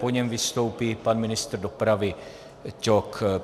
Po něm vystoupí pan ministr dopravy Ťok.